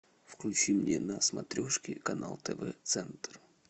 включи мне на смотрежке канал тв центр